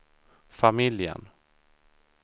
familjen